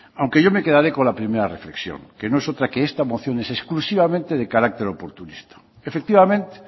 aunque yo me quedaré con la primera reflexión que no es otra que esta moción es exclusivamente de carácter oportunista efectivamente